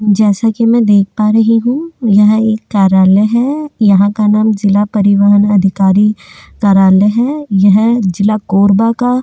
जैसा कि मैं देख पा रही हूं यह एक कार्यालय है यहाँ का नाम जिला परिवहन अधिकारी कार्यालय है यह जिला कोरबा का--